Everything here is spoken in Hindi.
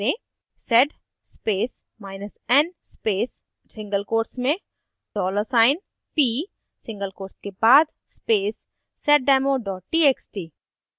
sed spacen space single quotes में dollar चिन्ह $p single quotes के बाद space seddemo txt